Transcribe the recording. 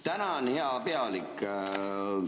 Tänan, hea pealik!